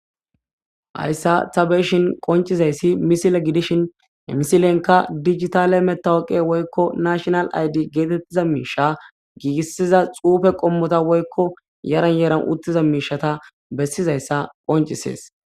Hayssa tabeshin qoncizayssi misile gidishin emisilenka digitale metawoqe woykko nashonal ayddi geetettiza miisha giigissiza xuufe qommota woykko yaran yeeran uttiza miishata bessizayssa qoncisees